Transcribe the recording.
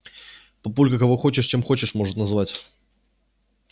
папулька кого хочешь чем хочешь может назвать